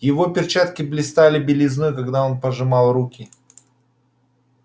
его перчатки блистали белизной когда он пожимал руки